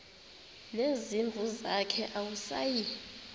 nezimvu zakhe awusayi